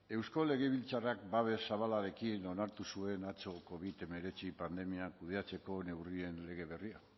eusko legebiltzarrak babes zabalarekin onartu zuen atzo covid hemeretzi pandemia kudeatzeko neurrien lege berria